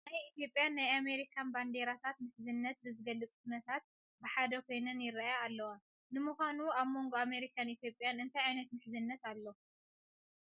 ናይ ኢትዮጵያን ናይ ኣሜሪካን ባንዲራታት ምሕዝነት ብዝገልፅ ኩነታት ብሓደ ኮይነን ይርአያ ኣለዋ፡፡ ንምዃኑ ኣብ ሞንጐ ኣሜሪካን ኢትዮጵያን እንታይ ዓይነት ምሕዝነት ኣሎ?